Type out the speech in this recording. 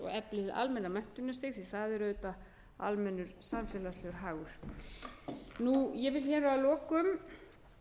og efli hið almenna menntunarstig því að það er auðvitað almennur samfélagslegur hagur ég vil hér að lokum